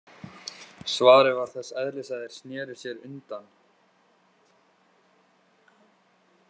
Svarið var þess eðlis að þeir sneru sér undan.